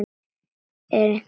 Er einhver heima?